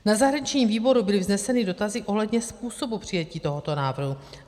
Na zahraničním výboru byly vzneseny dotazy ohledně způsobu přijetí tohoto návrhu.